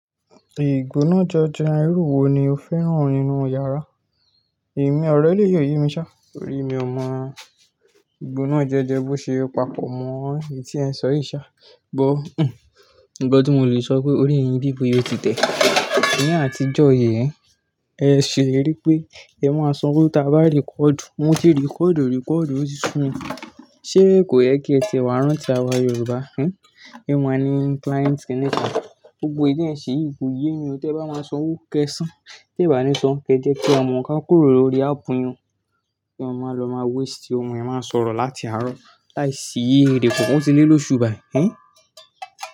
Ìgboná janjan irú wo ni o fẹ́ràn nínú yàrá? Emí ọ̀rẹ́ lè yóò yun ṣá torí mi ò mọ̀ ìgboná jẹjẹ bó ṣe ò papọ̀ mọ́ èyí tí ẹ ń sọ̀ yí ṣá. Woo uń, nnkan tí mo lè sọ pé orí yìn bíi pe o ti tẹ̀. Ní àtijọ́ yii ẹ, ẹ ṣèlérí pé ẹ máa san owó tá bá rikoodu. Mo ti rikoodu rikoodu, ó ti su mi Ṣé kò yẹ kí ẹ ti wà rántí àwa Yorùbá, ẹ́n? Won maa ni kilainti kìní kan, gbogbo èyi ti ẹ n ṣe yìí, kò yé mi ọ̀ tẹ bá máa san owó kẹsan. Tẹ bá ní san, kí ẹ jẹ́ kí a mọ ká kúrò lórí aapu yin o. Kí eeyan ma lọ má weisti ọhun ẹ má sọ̀rọ̀ láti àárọ̀. Láìsí èrè kankan, ọ́ ti lé lóṣù bá yi, ẹ́n?